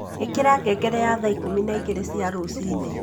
ĩkira ngengere ya thaa ikũmi na igĩrĩ cia rũcinĩ